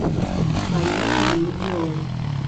поехали легион